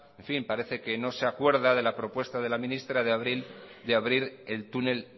en fin parece que no se acuerda de la propuesta de la ministra de abrir el túnel